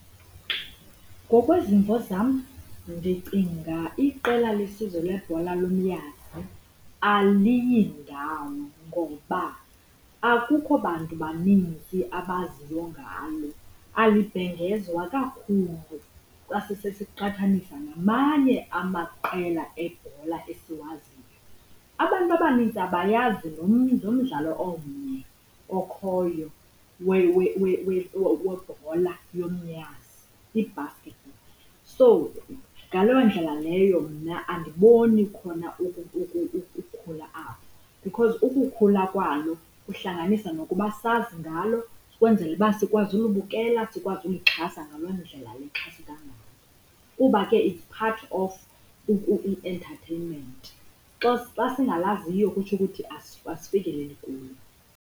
Ngokwezimvo zam ndicinga iqela lesizwe lebhola lomnyazi aliyindawo ngoba akukho bantu baninzi abaziyo ngalo, alibhengezwa kakhulu xa sisesiqhathanisa namanye amaqela ebhola esiwaziyo. Abantu abaninzi abayazi nomdlalo omnye okhoyo webhola yomnyazi, i-basket ball. So ngaloo ndlela leyo mna andiboni khona ukukhula apho, because ukukhula kwalo kuhlanganisa nokuba sazi ngalo ukwenzela uba sikwazi ulibukela, sikwazi ukulixhasa ngaloo ndlela lixhaseka ngalo. Kuba ke it's part of i-entatheyinmenti, xa xa singalaziyo kutsho ukuthi asifikeleli kulo.